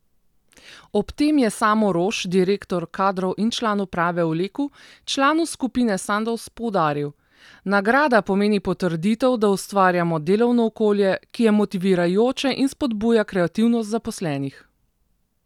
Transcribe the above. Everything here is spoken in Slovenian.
Ob tem je Samo Roš, direktor Kadrov in član uprave v Leku, članu skupine Sandoz, poudaril: 'Nagrada pomeni potrditev, da ustvarjamo delovno okolje, ki je motivirajoče in spodbuja kreativnost zaposlenih.